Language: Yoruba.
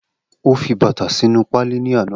O fi bata sinu paali ni ana